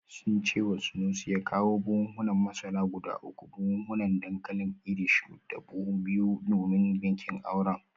Sun ce wa Sanusi ya kawo buhunan masara guda uku, buhunan dankalin Irish da buhu biyu domin bikin aure